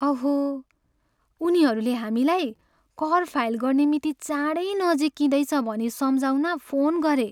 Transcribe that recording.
अहो! उनीहरूले हामीलाई कर फाइल गर्ने मिति चाँडै नजिकिँदैछ भनी सम्झाउन फोन गरे।